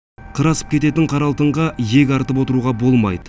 қыр асып кететін қара алтынға иек артып отыруға болмайды